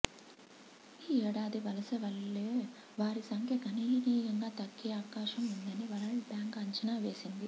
ఈ ఏడాది వలస వెళ్లే వారి సంఖ్య గణనీయంగా తగ్గే అవకాశం ఉందని వరల్డ్ బ్యాంక్ అంచనా వేసింది